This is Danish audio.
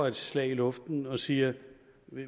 et slag i luften og siger